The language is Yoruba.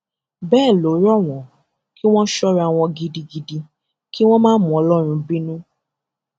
bẹẹ ló rọ wọn kí wọn sọra wọn gidigidi kí wọn máa mú ọlọrun bínú